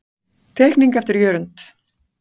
Teikning eftir Jörund.